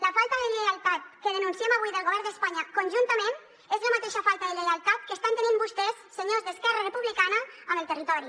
la falta de lleialtat que denunciem avui del govern d’espanya conjuntament és la mateixa falta de lleialtat que estan tenint vostès senyors d’esquerra republicana amb el territori